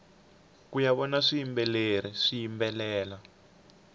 kuya vona swiyimbeleri swiyimbelela